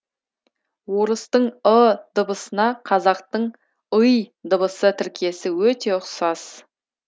орыстың ы дыбысына қазақтың ый дыбыс тіркесі өте ұқсас